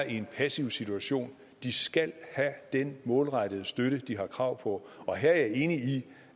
en passiv situation de skal have den målrettede støtte de har krav på og her er jeg enig i